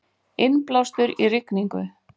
Innblástur í rigningu